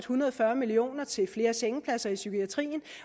hundrede og fyrre million kroner til flere sengepladser i psykiatrien